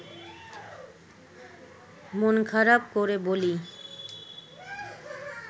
মন খারাপ করে বলি